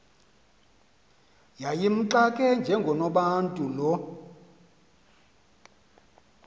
yayimxake njengonobantu lo